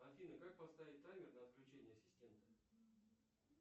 афина как поставить таймер на отключение ассистента